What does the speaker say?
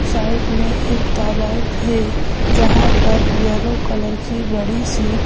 side में एक तालाब है जहां पर येलो कलर की बड़ी सी --